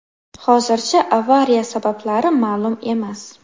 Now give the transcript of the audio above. Hozircha avariya sabablari ma’lum emas.